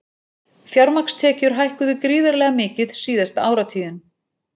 Fjármagnstekjur hækkuðu gríðarlega mikið síðasta áratuginn